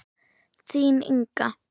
Þín, Inga.